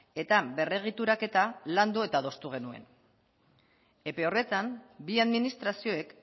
eta berregituraketa landu eta adostu genuen epe horretan bi administrazioek